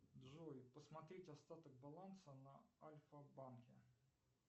джой посмотреть остаток баланса на альфа банке